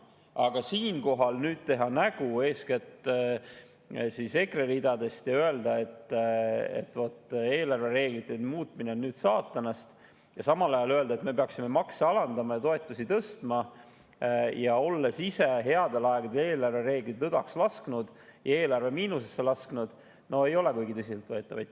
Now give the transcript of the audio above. Aga siinkohal teha nägu, eeskätt EKRE ridades, ja öelda, et vot eelarvereeglite muutmine on saatanast, ja samal ajal öelda, et me peaksime makse alandama ja toetusi tõstma, olles ise headel aegadel eelarvereeglid lõdvaks lasknud ja eelarve miinusesse lasknud – no ei ole kuigi tõsiselt võetav.